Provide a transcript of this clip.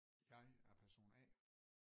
Jeg er person A